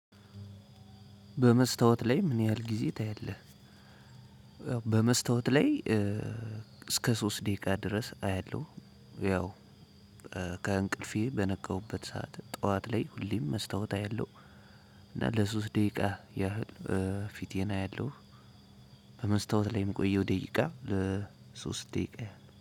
በመስታወት ላይ ምን ያህል ጊዜ ታያለህ? በመስታወት ላይ እስከ ሶስት ደቂቃ ድረስ አያለሁ። ያው ከእንቅልፌ በነቃሁበት ሰዓት ጠዋት ላይ ሁሌም መስታወት አያለሁ። እና ለሶስት ደቂቃ ያህል ፊቴን አያለሁ። በመስታወት ላይ የምቆየው ደቂቃ ለሶስት ደቂቃ